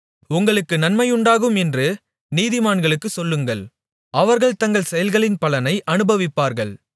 உங்களுக்கு நன்மையுண்டாகும் என்று நீதிமான்களுக்குச் சொல்லுங்கள் அவர்கள் தங்கள் செயல்களின் பலனை அனுபவிப்பார்கள்